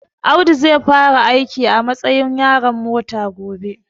Audu zai fara aiki a matsayin yaron mota gobe